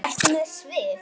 Ertu með svið?